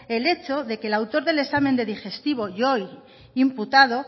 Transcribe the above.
el hecho de que el autor del examen de digestivo y hoy imputado